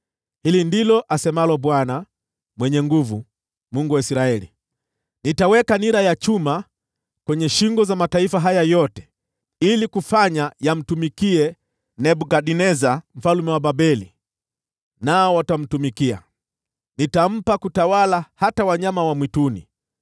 Hili ndilo asemalo Bwana Mwenye Nguvu Zote, Mungu wa Israeli: Nitaweka nira ya chuma kwenye shingo za mataifa haya yote ili kufanya yamtumikie Nebukadneza mfalme wa Babeli, nao watamtumikia. Nitampa kutawala hata wanyama wa mwituni.’ ”